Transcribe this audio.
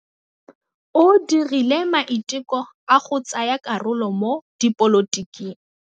O dirile maitekô a go tsaya karolo mo dipolotiking.